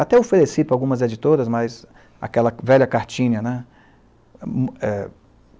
Até ofereci para algumas editoras, mas aquela velha cartinha, né? É